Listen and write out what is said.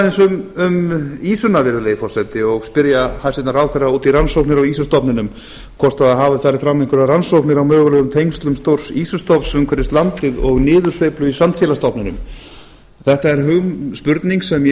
ræða aðeins um ýsuna virðulegi forseti og spyrja hæstvirtan ráðherra út í rannsóknir á ýsustofninum hvort hafi farið fram ýmsar rannsóknir á mögulegum tengslum stórs ýsustofns umhverfis landið og niðursveiflu í sandsílastofninum þetta er spurning sem ég